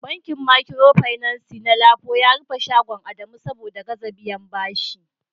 bankin Micropinaci na Lapo ya rufe shagon Adamu saboda gaza biyan bashi